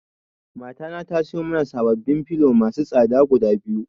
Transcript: Mata na tasiyo mana sababbin filo masu tsada guda biyu.